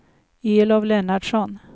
Elof Lennartsson